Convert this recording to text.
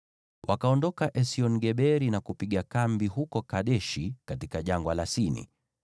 Wakaondoka Esion-Geberi na kupiga kambi huko Kadeshi katika Jangwa la Sini.